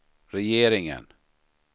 regeringen